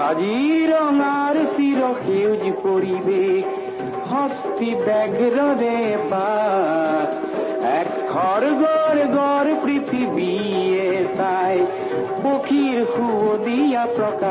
song a separate audio file will be shared on WhatsApp